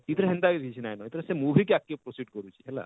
ଇଥିରେ ହେନତା ବି କିଛି ନାଇଁ ନ ଇଥିରେ ସେ movie କେ ଆଗକେ prosite କରୁଛେ ହେଲା,